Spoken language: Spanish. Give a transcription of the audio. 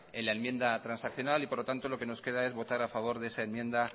en la enmienda transaccional y por lo tanto lo que nos queda es votar a favor de esa enmienda